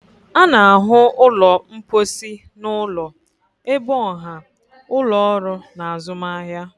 A na-ahụ ụlọ mposi n'ụlọ, ebe ọha, ụlọ ọrụ na azụmahịa.